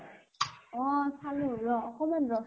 অ চালো ৰʼ, অকমান ৰʼচোনা।